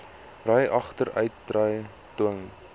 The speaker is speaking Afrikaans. ry agteruitry dwing